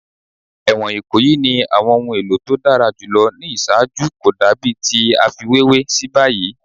Ẹwọn Ikoyi ni awọn ohun elo to dara julọ ni iṣaaju ko dabi ti a fiwewe si bayi